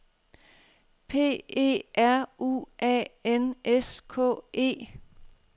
P E R U A N S K E